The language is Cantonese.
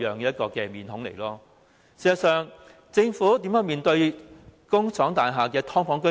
事實上，政府如何對待工廠大廈的"劏房"居民？